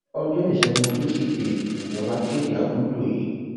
ọjọ ìṣègùn tùsídẹẹ níjọba kéde àtúntò yìí